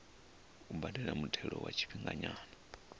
u badela muthelo wa tshifhinganyana